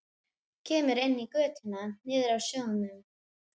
Kemur inn í götuna niður að sjónum.